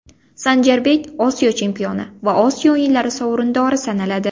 Sanjarbek Osiyo chempioni va Osiyo o‘yinlari sovrindori sanaladi.